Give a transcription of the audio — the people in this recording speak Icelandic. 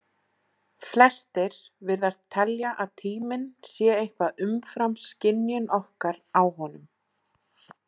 Flestir virðast telja að tíminn sé eitthvað umfram skynjun okkar á honum.